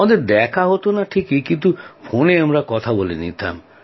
আমাদের দেখা হতো না ঠিকই কিন্তু ফোনে আমরা কথা বলে নিতাম